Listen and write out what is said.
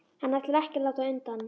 Hann ætlar ekki að láta undan.